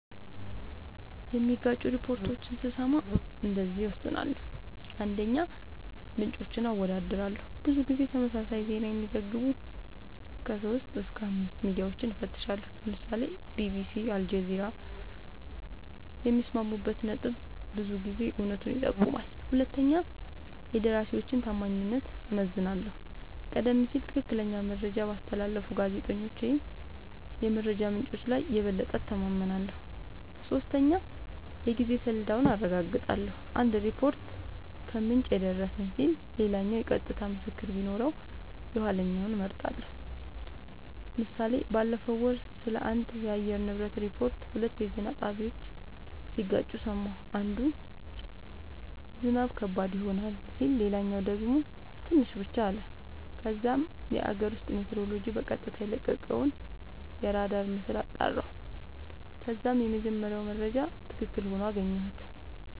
የሚጋጩ ሪፖርቶችን ስሰማ እንደዚህ እወስናለሁ :- 1, ምንጮችን አወዳድራለሁ :-ብዙ ጊዜ ተመሳሳይ ዜና የሚዘግቡ 3-5አስተማማኝ ሚድያወችን እፈትሻለሁ ( ለምሳሌ ቢቢሲ አልጀዚራ )የሚስማሙበት ነጥብ ብዙ ጊዜ እውነቱን ይጠቁማል 2 የደራሲወችን ታማኝነት እመዝናለሁ :-ቀደም ሲል ትክክለኛ መረጃ ባስተላለፉ ጋዜጠኞች ወይም የመረጃ ምንጮች ላይ የበለጠ እተማመናለሁ። 3 የጊዜ ሰሌዳውን አረጋግጣለሁ :- አንድ ሪፖርት "ከምንጭ የደረሰን" ሲል ሌላኛው የቀጥታ ምስክር ቢኖረው የኋለኛውን እመርጣለሁ ## ምሳሌ ባለፈው ወር ስለአንድ የአየር ንብረት ሪፖርት ሁለት የዜና ጣቢያወች ሲጋጩ ሰማሁ። አንዱ "ዝናብ ከባድ ይሆናል " ሲል ሌላኛው ደግሞ "ትንሽ ብቻ " አለ። ከዛም የአገር ውስጥ ሜትሮሎጅ በቀጥታ የለቀቀውን አራዳር ምስል አጣራሁ ከዛም የመጀመሪያው መረጃ ትክክል ሆኖ አገኘሁት